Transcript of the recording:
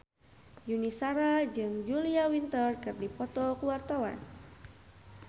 Yuni Shara jeung Julia Winter keur dipoto ku wartawan